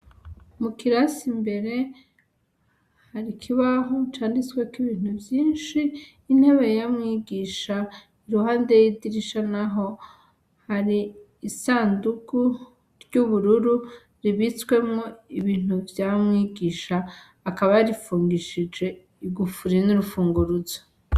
Mukirasi imbere hari ikibaho canditsweko ibintu vyinshi intebe ya mwigisha iruhande yidirisha naho, hari isandugu ry'ubururu ribitswemwo ibintu vya mwigisha akaba yarifungishije igufuri n'urufunguruzo.